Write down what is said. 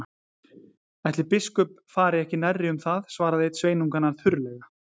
Ætli biskup fari ekki nærri um það, svaraði einn sveinanna þurrlega.